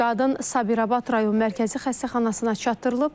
Qadın Sabirabad rayon Mərkəzi Xəstəxanasına çatdırılıb.